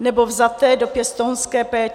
nebo vzaté do pěstounské péče.